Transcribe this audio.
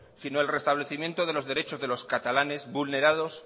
sino el restablecimiento de los derechos de los catalanes vulnerados